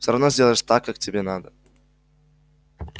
все равно сделаешь так как тебе надо